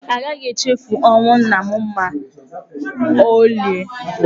A gaghị echefu ọnwụ nna m ma ọlị.